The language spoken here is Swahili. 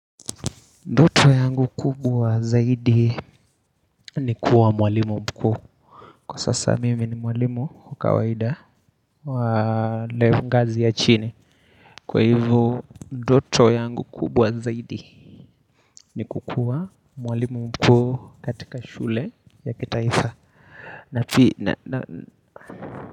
Ndoto yangu kubwa zaidi ni kuwa mwalimu mkuu Kwa sasa mimi ni mwalimu wa. Kawaida wa ile ngazi ya chini Kwa hivo ndoto yangu kubwa zaidi ni kukuwa mwalimu mkuu katika shule ya kitaifa na pi na na na.